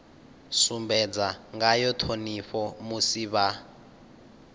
sumbedza ngayo ṱhonipho musi vha